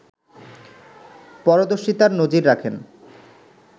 পরদর্শীতার নজির রাখেন